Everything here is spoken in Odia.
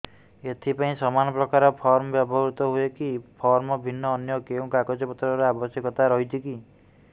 ଏଥିପାଇଁ ସମାନପ୍ରକାର ଫର୍ମ ବ୍ୟବହୃତ ହୂଏକି ଫର୍ମ ଭିନ୍ନ ଅନ୍ୟ କେଉଁ କାଗଜପତ୍ରର ଆବଶ୍ୟକତା ରହିଛିକି